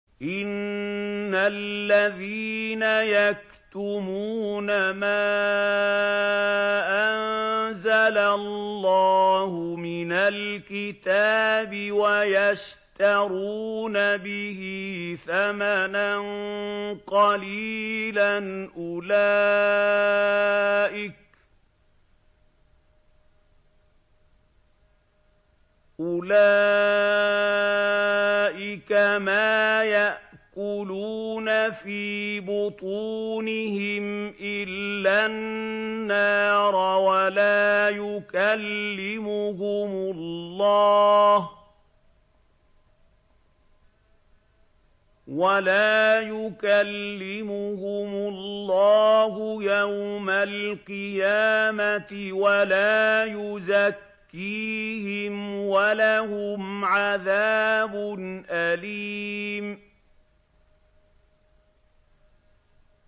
إِنَّ الَّذِينَ يَكْتُمُونَ مَا أَنزَلَ اللَّهُ مِنَ الْكِتَابِ وَيَشْتَرُونَ بِهِ ثَمَنًا قَلِيلًا ۙ أُولَٰئِكَ مَا يَأْكُلُونَ فِي بُطُونِهِمْ إِلَّا النَّارَ وَلَا يُكَلِّمُهُمُ اللَّهُ يَوْمَ الْقِيَامَةِ وَلَا يُزَكِّيهِمْ وَلَهُمْ عَذَابٌ أَلِيمٌ